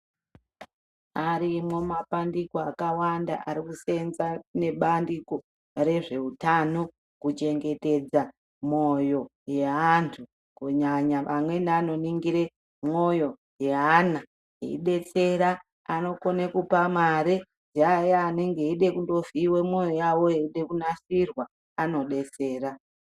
Arimwo mapandiko akawanda arikuseenza ngebandiko rezveutano kuchengetedza mwoyo yeandu kunyanya vamweni vanoningire mwoyo yeana eidetsera , anokone kupa mare yeata anenge eida kovhiyiwe mwoyo yawo yeide kunatsirwa anodetsera.